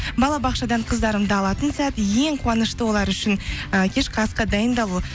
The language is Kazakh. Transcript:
балабақшадан қыздарымды алатын сәт ең қуанышты олар үшін і кешкі асқа дайындалу